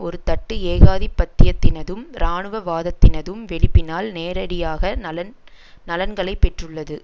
ஒரு தட்டு ஏகாதிபத்தியத்தினதும் இராணுவவாதத்தினதும் வெளிப்பினால் நேரடியாக நலன் நலன்களை பெற்றுள்ளது